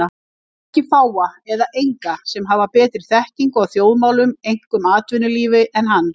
Ég þekki fáa eða enga sem hafa betri þekkingu á þjóðmálum, einkum atvinnulífi, en hann.